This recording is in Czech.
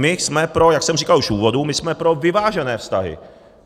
My jsme pro, jak jsem říkal už v úvodu, my jsme pro vyvážené vztahy.